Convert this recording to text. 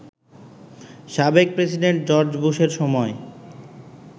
সাবেক president George বুশের সময়